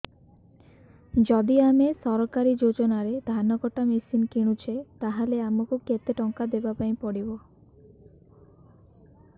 ଯଦି ଆମେ ସରକାରୀ ଯୋଜନାରେ ଧାନ କଟା ମେସିନ୍ କିଣୁଛେ ତାହାଲେ ଆମକୁ କେତେ ଟଙ୍କା ଦବାପାଇଁ ପଡିବ